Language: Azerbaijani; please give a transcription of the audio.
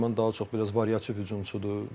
Nəriman daha çox biraz variativ hücumçudur.